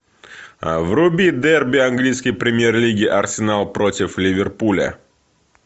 вруби дерби английской премьер лиги арсенал против ливерпуля